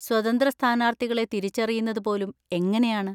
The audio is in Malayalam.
സ്വതന്ത്ര സ്ഥാനാർത്ഥികളെ തിരിച്ചറിയുന്നത് പോലും എങ്ങനെയാണ്?